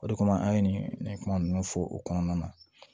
O de kama an ye nin kuma ninnu fɔ o kɔnɔna na